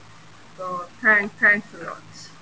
ਤੋਂ thanks thanks a lots